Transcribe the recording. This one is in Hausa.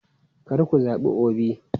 Kar ku zabi Obi!